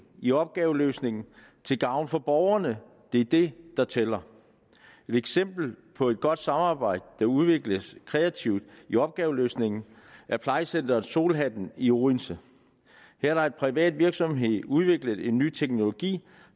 i opgaveløsningen til gavn for borgerne det er det der tæller et eksempel på et godt samarbejde der udvikles kreativt i opgaveløsningen er plejecenteret solhatten i odense her har en privat virksomhed udviklet en ny teknologi